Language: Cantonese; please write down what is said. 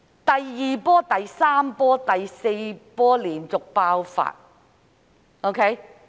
第二波、第三波、第四波連續爆發。